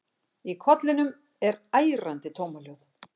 Í kollinum er ærandi tómahljóð.